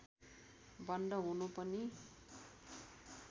बन्द हुनु पनि